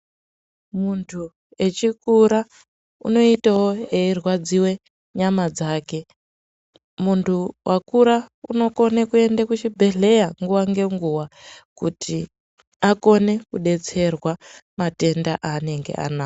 Muntu echikura unoitawo eirwadziwe nyama dzake. Muntu vakura unokone kuende kuchibhedhleya nguva ngenguva kuti akone kudetserwa matenda aanenge anawo.